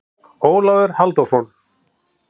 Ólafur Halldórsson.